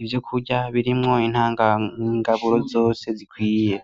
ibyokurya birimwo intanga ngaburo zose zikwiye.